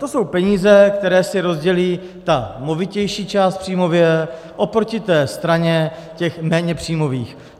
To jsou peníze, které si rozdělí ta movitější část příjmově oproti té straně těch méně příjmových.